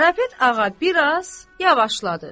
Karapet ağa biraz yavaşladı.